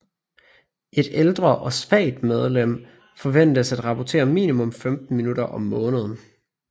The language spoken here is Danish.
Et ældre og svagt medlem forventes at rapportere minimum 15 minutter om måneden